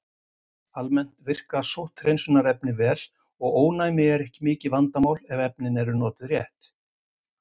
Almennt verka sótthreinsunarefni vel og ónæmi er ekki mikið vandamál ef efnin eru notuð rétt.